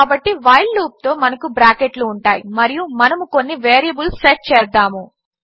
కాబట్టి వైల్ లూప్తో మనకు బ్రాకెట్లు ఉంటాయి మరియు మనము కొన్ని వేరియబుల్స్ సెట్ చేద్దాము